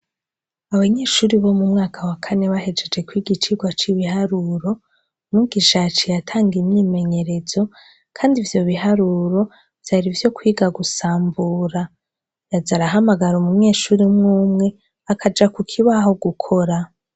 Abanyeshure bo mu mwaka wa kane bahejeje kwiga icigwa c'ibiharuro, mwigisha yaciye atanga imyimenyerezo kandi ivyo biharuro vyari ivyo kwiga gusambura. Yaza arahamagara umunyeshure umwe umwe, akaja ku kibaho gukora.